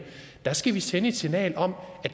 skal vi sende et signal om at